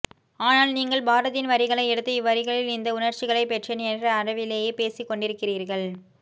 ஆனால் நீங்கள் பாரதியின் வரிகளை எடுத்து இவ்வரிகளில் இந்த உணர்ச்சிகளைப் பெற்றேன் என்ற அளவிலேயே பேசிக்கொண்டிருக்கிறீர்கள்